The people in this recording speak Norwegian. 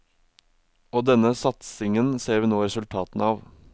Og denne satsingen ser vi nå resultatene av.